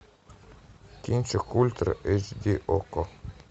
кинчик ультра эйч ди окко